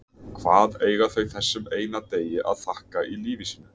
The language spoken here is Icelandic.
Hvað eiga þau þessum eina degi að þakka í lífi sínu?